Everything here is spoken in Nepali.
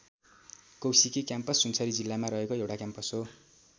कौशिकी क्याम्पस सुनसरी जिल्लामा रहेको एउटा क्याम्पस हो।